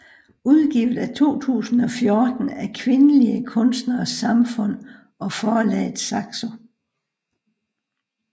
Udgivet 2014 af Kvindelige Kunstneres Samfund og forlaget Saxo